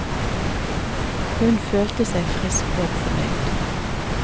Hun følte seg frisk og fornøyd.